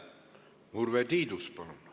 Urve Tiidus, palun!